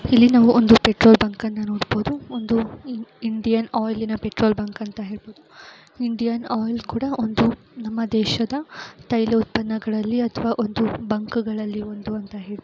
ಇಲ್ಲಿ ನಾವು ಒಂದು ಪೆಟ್ರೋಲ್ ಬುಂಕನ್ನ ನೋಡಬಹುದು ಒಂದು ಇಂಡ್ ಇಂಡಿಯನ್ ಆಯಿಲಿನ ಪೆಟ್ರೋಲ್ ಬಂಕ್ ಅಂತ ಹೇಳ್ಬಹುದು ಇಂಡಿಯನ್ ಆಯಿಲ್ ಕೂಡಾ ಒಂದು ನಮ್ಮ ದೇಶದ ತೈಲ ಉತ್ಪನ್ನಗಳಲ್ಲಿ ಅಥವಾ ಒಂದು ಬಂಕ್ಗಳಲ್ಲಿ ಒಂದು ಅಂತ ಹೇಳ್ಬಹುದು.